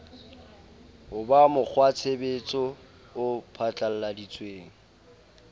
ho ba mokgwatshebetso o phatlalladitsweng